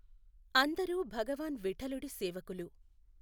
అందరూ భగవాన్ విఠలుడి సేవకులు.